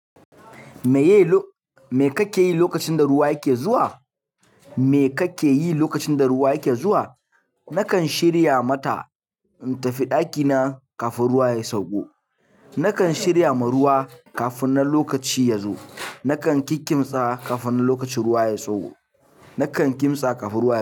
Me ka ke yi lokacin da ruwa yake zuwa? Me ka ke yi lokacin da ruwa yake zuwa? Nakan shirya mata in tafi ɗakina kafin ruwa ya sauko. Nakan shirya ma ruwa kafin na lokaci ya zo. Nakan kikimsa kafin na lokacin ruwa ya sauko. Nakan kimsa kafin ruwa ya sauko.